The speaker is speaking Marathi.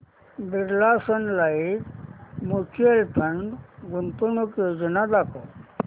Birla sun life mutual fund गुंतवणूक योजना दाखव